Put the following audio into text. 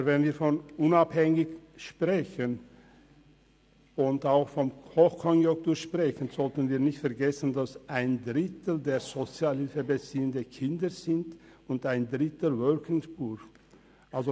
Aber wenn wir von Unabhängigkeit und Hochkonjunktur sprechen, sollten wir nicht vergessen, dass ein Drittel der Sozialhilfebeziehenden Kinder sind und ein Drittel «Working Poor».